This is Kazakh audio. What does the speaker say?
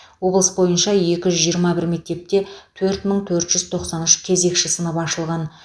облыс бойынша екі жүз жиырма бір мектепте төрт мың төрт жүз тоқсан үш кезекші сынып ашылған